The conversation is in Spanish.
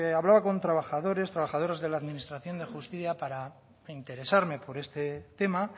habla con trabajadores trabajadoras de la administración de justicia para interesarme por este tema